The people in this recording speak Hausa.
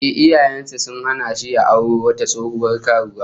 Ehh, iyayen sa sun hana shi ya auro wata tsohuwar karuwa